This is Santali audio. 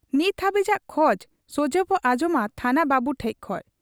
ᱱᱤᱛ ᱦᱟᱹᱵᱤᱡᱟᱜ ᱠᱷᱚᱡᱽ ᱥᱚᱡᱷᱮᱵᱚ ᱟᱸᱡᱚᱢᱟ ᱛᱷᱟᱱᱟ ᱵᱟᱹᱵᱩ ᱴᱷᱮᱫ ᱠᱷᱚᱱ ᱾